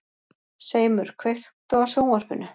Seimur, kveiktu á sjónvarpinu.